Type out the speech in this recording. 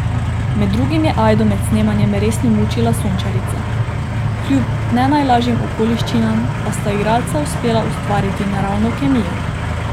Med drugim je Ajdo med snemanjem resno mučila sončarica, kljub ne najlažjim okoliščinam pa sta igralca uspela ustvariti naravno kemijo.